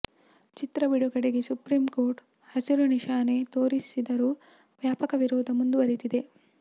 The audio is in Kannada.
ಚಿತ್ರ ಬಿಡುಗಡೆಗೆ ಸುಪ್ರೀಂ ಕೋರ್ಟ್ ಹಸಿರು ನಿಶಾನೆ ತೋರಿಸಿದರೂ ವ್ಯಾಪಕ ವಿರೋಧ ಮುಂದುವರೆದಿದೆ